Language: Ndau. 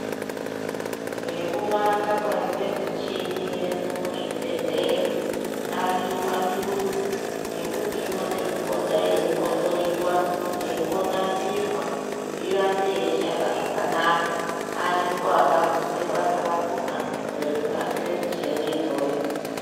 Ngekuwanda kwaite michini yedu muzvibhedhleya ariyo maturuzi ekuti inode kupota yeimbohloiwa yeimbonasirwa kuti irambe yeishanda zvakanaka ariko akafundire basa rakhona rekunasire michini iyoyo.